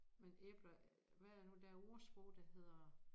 Men æbler hvad er det nu der ordsprog der hedder